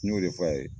N y'o de f'a ye